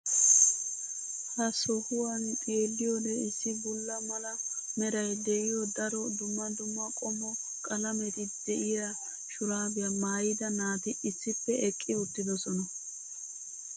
ha sohuwan xeelliyoode issi bulla mala meray de'iyo daro dumma dumma qommo qalametti diya shuraabiya maayida naati issippe eqqi uttidosona.